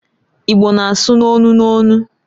Igbo na-asụ n'onu n'onu.